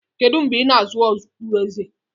Kedu mgbe ị na-azụ okpueze?